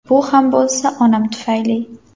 Bu ham bo‘lsa onam tufayli!